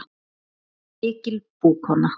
Hún var mikil búkona.